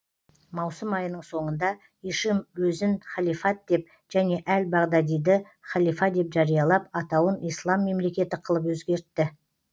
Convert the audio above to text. маусым айының соңында ишим өзін халифат деп және әл бағдадиді халифа деп жариялап атауын ислам мемлекеті қылып өзгертті